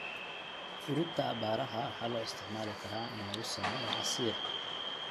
Fruita aabbaaraha waxaa loo isticmaali karaa in lagu sameeyo casiir.